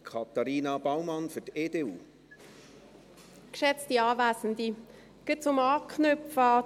Um gleich an das Votum der BDP anzuknüpfen: